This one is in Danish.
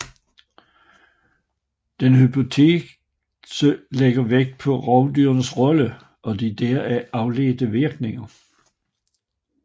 Denne hypotese lægger vægt på rovdyrenes rolle og de deraf afledte virkninger